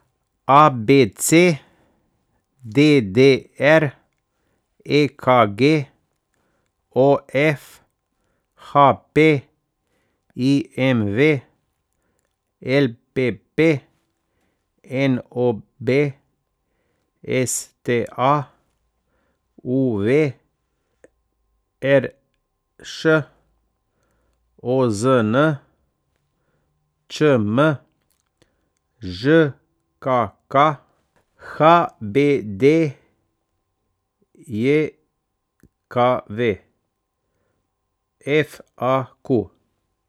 A B C; D D R; E K G; O F; H P; I M V; L P P; N O B; S T A; U V; R Š; O Z N; Č M; Ž K K; H B D J K V; F A Q.